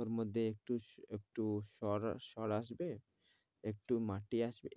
ওর মধ্যে একটু, একটু সর, সর আসবে একটু মাটি আসবে।